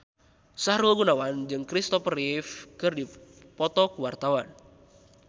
Sahrul Gunawan jeung Kristopher Reeve keur dipoto ku wartawan